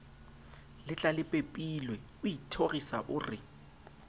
letlalepepilwe o ithorisa o re